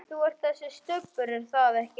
Þú ert þessi Stubbur, er það ekki?